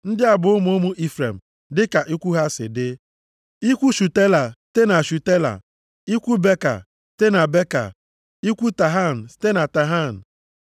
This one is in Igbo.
Ndị a bụ ụmụ ụmụ Ifrem dịka ikwu ha si dị: ikwu Shutela site na Shutela, ikwu Beka site na Beka, ikwu Tahan site na Tahan.